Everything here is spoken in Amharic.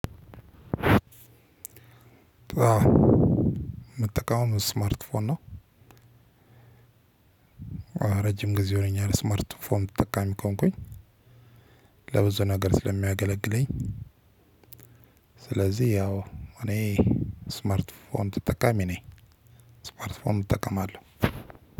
መጠቀም ስማርትፎን ነው። ረጅም ጊዜ ሆኖኛል ስማርት ፎን ተጠቃሚ ከሆንኩኝ። ለብዙ ነገር ስለ ሚያገለግለኝ። ስለዚህ ያው እኔ ስማርት ፎን ተጠቃሚ ነኝ። ስማርት ፎን እጠቀማለሁ።